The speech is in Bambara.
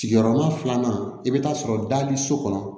Sigiyɔrɔma filanan i bɛ taa sɔrɔ dali so kɔnɔ